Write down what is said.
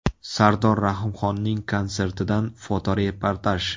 Sardor Rahimxonning konsertidan fotoreportaj.